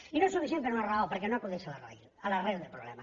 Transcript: i no és suficient per una raó perquè no acudeix a l’arrel del problema